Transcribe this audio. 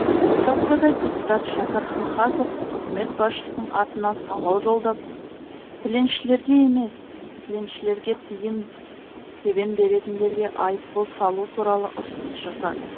осы аптада депутат шәкір хахазов үкімет басшысының атына сауал жолдап тіленшілерге емес тіленшілерге тиын тебен беретіндерге айыппұл салу туралы ұсыныс жасады